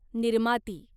निर्माती